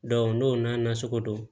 n'o n'a nasugu don